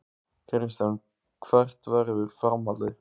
Kristján: Hvert verður framhaldið?